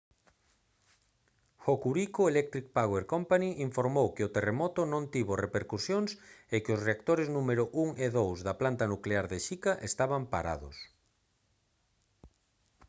hokuriku electric power co informou que o terremoto non tivo repercusións e que os reactores número 1 e 2 na planta nuclear de shika estaban parados